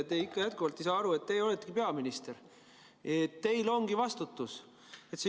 Te endiselt ei saa aru, et teie oletegi peaminister, et teil ongi vastutus.